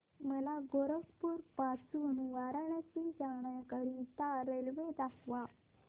मला गोरखपुर पासून वाराणसी जाण्या करीता रेल्वे दाखवा